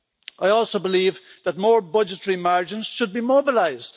I also believe that more budgetary margins should be mobilised.